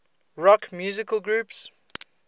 rock musical groups